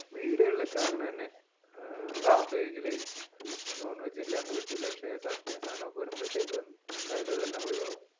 വീടുകളിൽ ഒക്കെ അങ്ങനെ തന്നെയാണ് non ഇല്ലാണ്ട് പറ്റൂല പക്ഷെ സദ്യയും സാധനവും വഴുമ്പോരെത്തേക്ക് എല്ലാരും അതെല്ലാം